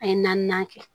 An ye naaninan kɛ